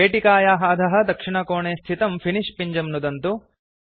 पेटिकायाः अधः दक्षिणकोणे स्थितं फिनिश पिञ्जं नुदन्तु